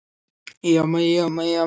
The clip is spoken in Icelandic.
Ég veit það nú ekki sagði Valdimar efins.